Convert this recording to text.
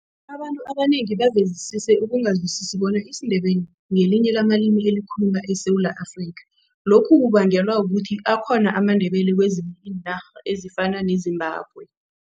Abantu abanengi bavezisise ukungazwisisi bona isiNdebele ngelinye lamalimi elikhuluma eSewula Afrika. Lokhu kubangelwa kukuthi akhona amaNdebele kwezinye iinarha ezifana neZimbabwe.